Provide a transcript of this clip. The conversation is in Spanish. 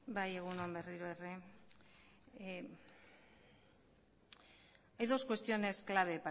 egun on berriro ere hay dos cuestiones claves